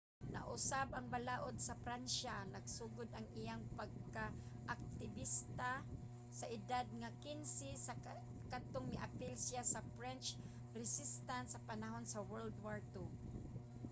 nausab ang balaud sa pransya. nagsugod ang iyang pagkaaktibista sa edad nga 15 sa kadtong miapil siya sa french resistance sa panahon sa world war ii